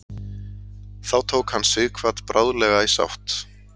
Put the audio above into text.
Þó tók hann Sighvat bráðlega í sátt.